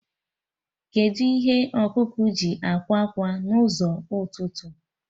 Kedụ ihe ọkụkọ ji akwa ákwà na ụzọ ụtụtụ?